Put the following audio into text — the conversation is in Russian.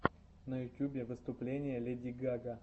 на ютубе выступление леди гага